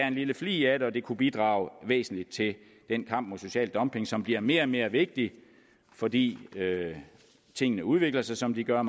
en lille flig af det og det kunne bidrage væsentligt til den kamp mod social dumping som bliver mere og mere vigtig fordi tingene udvikler sig som de gør og